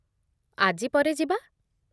ଆଜି ପରେ ଯିବା ।